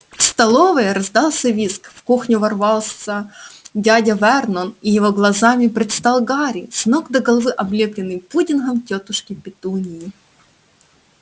в столовой раздался визг в кухню ворвался дядя вернон и его глазам предстал гарри с ног до головы облепленный пудингом тётушки петуньи